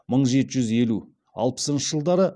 мың жеті жүз елу алпысыншы жылдары